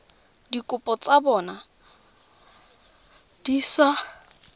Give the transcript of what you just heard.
dikopo tsa bona di sa